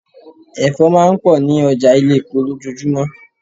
Ẹ̀fọ́ máa ń pọ̀ ní ọjà ilé-epo lojoojumo.